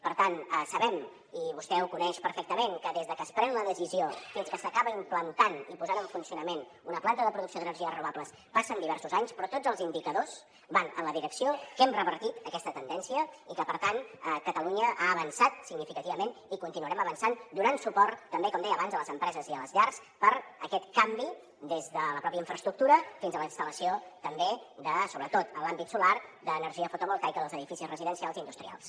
per tant sabem i vostè ho coneix perfectament que des de que es pren la decisió fins que s’acaba implantant i posant en funcionament una planta de producció d’energies renovables passen diversos anys però tots els indicadors van en la direcció que hem revertit aquesta tendència i que per tant catalunya ha avançat significativament i continuarem avançant donant suport també com deia abans a les empreses i a les llars per aquest canvi des de la pròpia infraestructura fins a la instal·lació també sobretot en l’àmbit solar d’energia fotovoltaica als edificis residencials i industrials